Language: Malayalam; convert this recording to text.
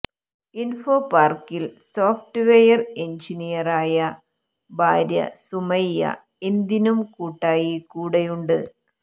ഇൻഫോ പാർക്കിൽ സോഫറ്റ് വെയർ എൻജിനീയറായ ഭാര്യ സുമയ്യ എന്തിനും കൂട്ടായി കൂടെയുണ്ട്